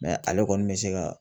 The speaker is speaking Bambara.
ale kɔni bɛ se ka